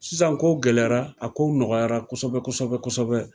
Sisan kow gɛlɛyara a kow nɔgɔyara kosɛbɛ kosɛbɛ kosɛbɛ